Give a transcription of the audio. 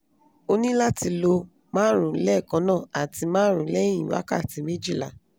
o ni lati lo marun lekanna ati marun lehin wakati mejila